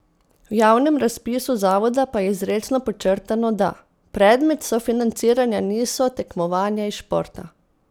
V javnem razpisu zavoda pa je izrecno podčrtano, da: "predmet sofinanciranja niso tekmovanja iz športa".